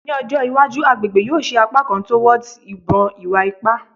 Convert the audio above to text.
Ni ojo iwaju agbegbe yoo si apakan torwards a ibon iwa-ipa